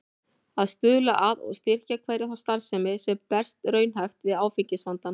Að stuðla að og styrkja hverja þá starfsemi, sem berst raunhæft við áfengisvandann.